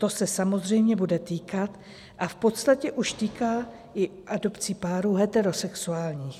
To se samozřejmě bude týkat a v podstatě už týká i adopcí párů heterosexuálních.